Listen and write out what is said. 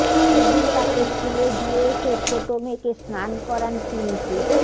এ দিন তাকে স্কুলে দিয়ে এসে ছোট মেয়েকে স্নান করান পিঙ্কি